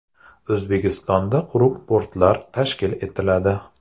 O‘zbekistonda quruq portlar tashkil etiladi.